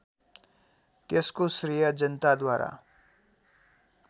त्यसको श्रेय जनताद्वारा